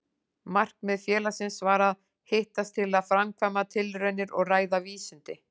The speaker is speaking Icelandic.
Markmið félagsins var að hittast til að framkvæma tilraunir og ræða vísindi.